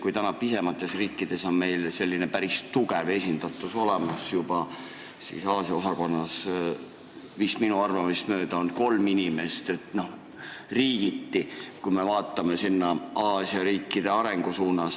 Kui meil on pisemates riikides juba päris tugev esindatus olemas, siis Aasia osakonnas on minu teada kolm inimest, riigiti, kui me vaatame sinna nende riikide arengu poole.